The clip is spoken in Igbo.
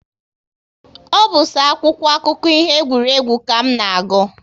Ọ bụ so akwụkwọ akụkọ ihe egwuregwu ka m na-agụ